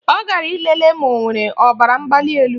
Ọ gara ịlele ma o nwere ọbaramgbalịelu